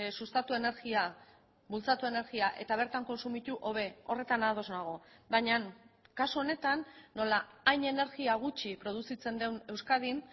sustatu energia bultzatu energia eta bertan kontsumitu hobe horretan ados nago baina kasu honetan nola hain energia gutxi produzitzen den euskadin